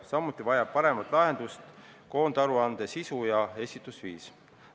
Samuti vajab paremat lahendust koondaruande sisu ja esitusviis.